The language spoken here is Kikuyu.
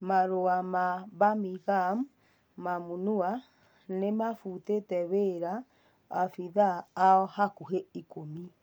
(Marua ma-Mbamigam) Momũnua nĩmafutĩte wĩra maobithaa ao hakuhĩ ikũmi.